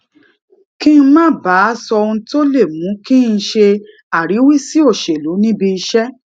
kí n má bàa máa sọ ohun tó lè mú kí n ṣe àríwísí òṣèlú níbi iṣé